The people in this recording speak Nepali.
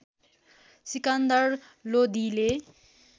सिकन्दर लोधीले